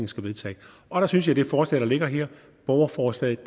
skal vedtage og der synes jeg at det forslag der ligger her borgerforslaget